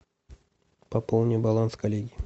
пополни баланс коллеги